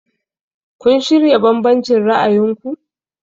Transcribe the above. Have you reconciled your different views?